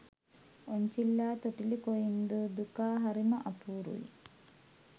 ඔන්චිල්ලා තොටිලි කොයින්දෝ දුකා හරිම අපූරුයි.